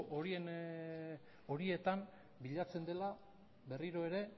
horietan bilatzen dela berriro ere